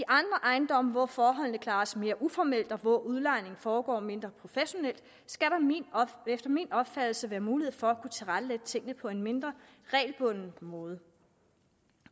ejendomme hvor forholdene klares mere uformelt og hvor udlejningen foregår mindre professionelt skal der efter min opfattelse være mulighed for at kunne tilrettelægge tingene på en mindre regelbundet måde